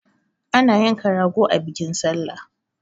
Ana yanka rago a bikin sallah